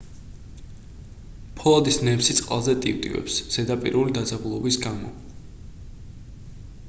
ფოლადის ნემსი წყალზე ტივტივებს ზედაპირული დაძაბულობის გამო